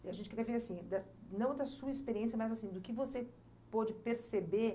E a gente queria ver, assim, da, não da sua experiência, mas do que você pôde perceber